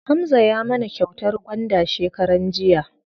Hamza ya mana kyautar gwanda shekaran jiya.